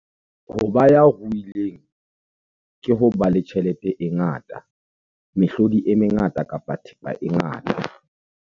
Ho ba ya ruileng ke ho ba le tjhelete e ngata, mehlodi e mengata kapa thepa e ngata.